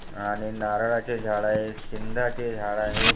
आणि नारळाचे झाडं आहेत. सिंधाचे झाडं आहेत.